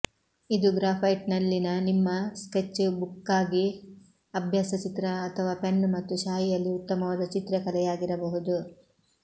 ಇದು ಗ್ರ್ಯಾಫೈಟ್ನಲ್ಲಿನ ನಿಮ್ಮ ಸ್ಕೆಚ್ ಬುಕ್ಗಾಗಿ ಅಭ್ಯಾಸ ಚಿತ್ರ ಅಥವಾ ಪೆನ್ ಮತ್ತು ಶಾಯಿಯಲ್ಲಿ ಉತ್ತಮವಾದ ಚಿತ್ರಕಲೆಯಾಗಿರಬಹುದು